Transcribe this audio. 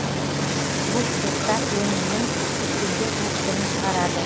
бұл цехтар өнімнің сексенге жуық түрін шығарады